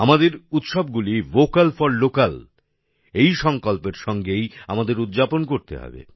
আমাদের উৎসবগুলি vocal for local এই সংকল্পের সঙ্গেই আমাদের উদযাপন করতে হবে